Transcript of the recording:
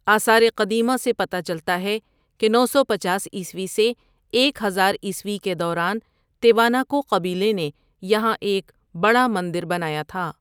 آثارِ قدیمہ سے پتہ چلتا ہے کہ نو سو پنچاس عیسوی سے ایک ہزار عیسوی کے دوران تیواناکو قبیلے نے یہاں ایک بڑا مندر بنایا تھا۔